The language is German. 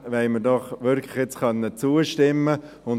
Dem wollen wir doch nun wirklich zustimmen können.